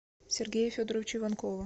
сергея федоровича иванкова